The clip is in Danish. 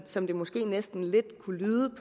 som det måske næsten kunne lyde